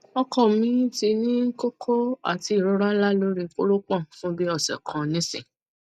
oko mi ti ni koko ati irora nla lori koropon fun bi ose kan nisin